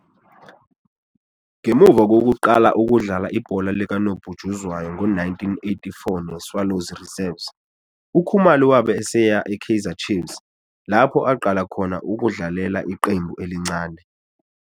Ngemva kokuqala ukudlala ibhola likanobhutshuzwayo ngo-1984 neSwallows Reserves, uKhumalo wabe eseya eKaizer Chiefs, lapho aqala khona ukudlalela iqembu elincane.